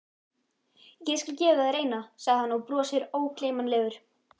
Ég skal gefa þér eina, segir hann og brosir ógleymanlegur.